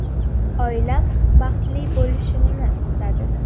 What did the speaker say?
Oilam baxtli bo‘lishimni istadi.